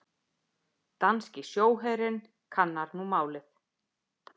Danski sjóherinn kannar nú málið